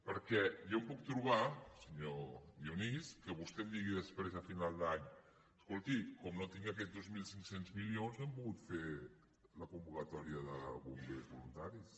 perquè jo em puc trobar senyor dionís que vostè digui després a final d’any escolti com que no tinc aquests dos mil cinc cents milions no hem pogut fer la convocatòria de bombers voluntaris